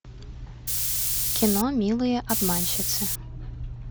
кино милые обманщицы